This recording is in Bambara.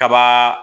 Kaba